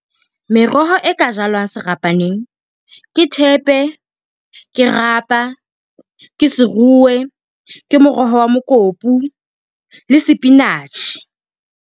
Meroho e ka jalwang serapaneng ke thepe, ke rapa, ke seruwe, ke moroho wa mokopu le sepinatjhe.